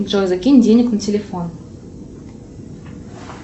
джой закинь денег на телефон